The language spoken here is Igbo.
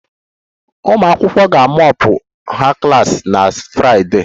Ụmụ akwụkwọ ga mop ha klas na Friday